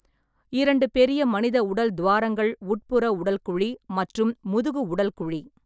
இரண்டு பெரிய மனித உடல் துவாரங்கள் உட்புற உடல் குழி மற்றும் முதுகு உடல் குழி.